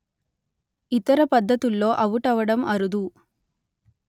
ఇతర పద్ధతుల్లో అవుటవడం అరుదు